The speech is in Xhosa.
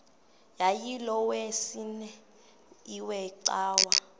yayilolwesine iwe cawa